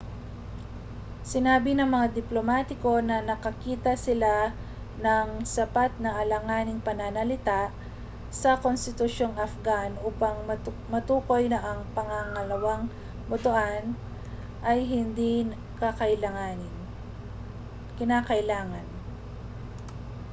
sinabi ng mga diplomatiko na nakakita sila ng sapat na alanganing pananalita sa konstitusyong afghan upang matukoy na ang pangalawang botohan ay hindi kinakailangan